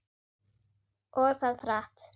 Og það hratt.